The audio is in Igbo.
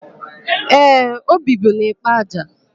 Ee, o bibu n'Ịkpaja.